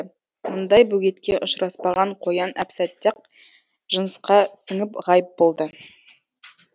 мұндай бөгетке ұшыраспаған қоян әп сәтте ақ жынысқа сіңіп ғайып болды